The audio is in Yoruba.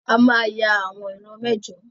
A máa ya àwọn ìran mẹ́jọ.